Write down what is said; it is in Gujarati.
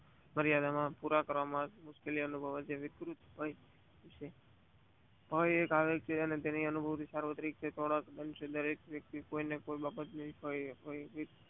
મારિયાદને પુરા કરવા માં મુશ્કેલ અનુભવ વિકૃતિ હોય છે. કોઈ એક વ્યક્તિ